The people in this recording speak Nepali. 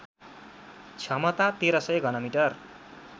क्षमता १३०० घनमिटर